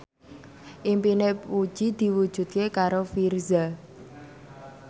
impine Puji diwujudke karo Virzha